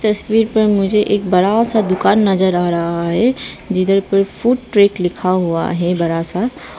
तस्वीर पर मुझे एक बड़ा सा दुकान नजर आ रहा है जिधर पे फूड ट्रैक लिखा हुआ है बड़ा सा।